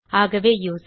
ஆகவே யூசர்